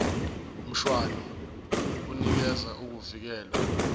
mshwana unikeza ukuvikelwa